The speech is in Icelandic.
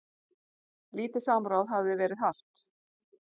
Lítið samráð hefði verið haft.